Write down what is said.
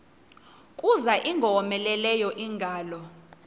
kuza ingowomeleleyo ingalo